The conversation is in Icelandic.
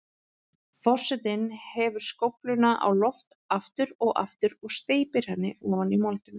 Forsetinn hefur skófluna á loft aftur og aftur og steypir henni ofan í moldina.